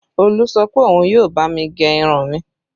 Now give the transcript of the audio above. Olú sọ pé òun yóò bá mi gẹ irun mi